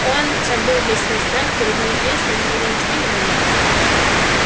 он забыл весь свой страх перед неизвестным и уже ничего не боялся